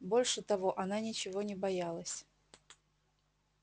больше того она ничего не боялась